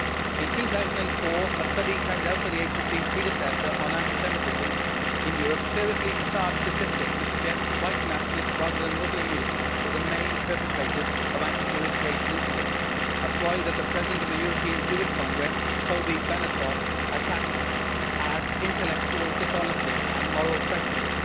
In 2004, a study carried out by the agency's predecessor on anti Semitism in Europe seriously massaged statistics to suggest that white nationalists, rather than Muslim youths, were the main perpetrators of anti Jewish racist incidents, a ploy that the President of the European Jewish Congress, Cobi Benatoff, attacked as intellectual dishonesty and moral treachery.